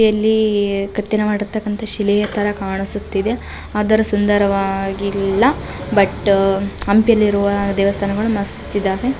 ಇಲ್ಲಿಈ ಕೆತ್ತನೆ ಮಾಡಿರ್ತಕಂತ ಶಿಲೆಯ ತರ ಕಾಣಿಸುತ್ತಿದೆ ಆದರೂ ಸುಂದರ ವಾಗಿಲ್ಲ ಬಟ್ ಹಂಪಿಲಿರುವ ದೇವಸ್ಥಾನಗಳು ಮಸ್ತ್ ಇದಾವೆ.